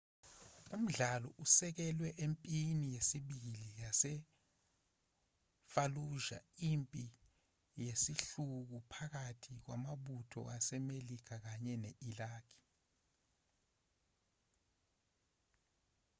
umdlalo usekelwe empini yesibili yasefalluja impi yesihluku phakathi kwamabutho asemelika kanye ne-iraq